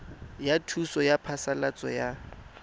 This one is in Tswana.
ya thuso ya phasalatso ya